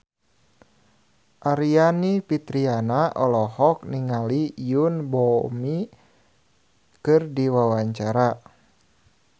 Aryani Fitriana olohok ningali Yoon Bomi keur diwawancara